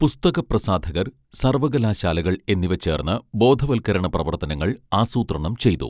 പുസ്തക പ്രസാധകർ സർവകലാശാലകൾ എന്നിവ ചേർന്ന് ബോധവത്കരണ പ്രവർത്തനങ്ങൾ ആസൂത്രണം ചെയ്തു